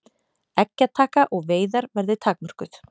Eggjataka og veiðar verði takmörkuð